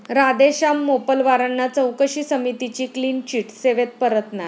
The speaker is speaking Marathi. राधेश्याम मोपलवारांना चौकशी समितीची क्लीन चिट, सेवेत परतणार?